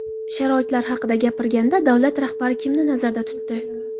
Sharoitlar haqida gapirganda davlat rahbari kimni nazarda tutdi?